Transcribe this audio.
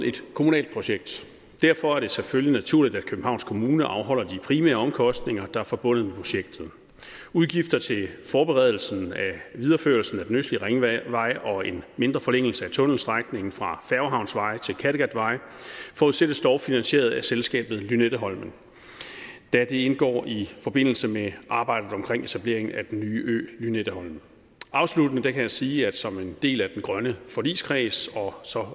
et kommunalt projekt derfor er det selvfølgelig naturligt at københavns kommune afholder de primære omkostninger der er forbundet med projektet udgifter til forberedelsen af videreførelsen af den østlige ringvej og en mindre forlængelse af tunnelstrækningen fra færgehavnsvej til kattegatvej forudsættes dog finansieret af selskabet lynetteholmen da det indgår i forbindelse med arbejdet omkring etablering af den nye ø lynetteholmen afsluttende kan jeg sige at som en del af den grønne forligskreds og så